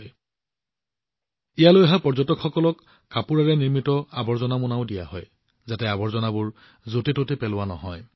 কাপোৰেৰে তৈয়াৰ কৰা আৱৰ্জনাৰ মোনাবোৰো ইয়ালৈ অহা পৰ্যটকসকলক দিয়া হয় যাতে আৱৰ্জনাবোৰ চাৰিওফালে সিঁচৰতি নহয়